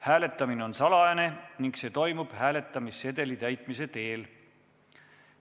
Hääletamine on salajane ning see toimub hääletamissedeli täitmise teel.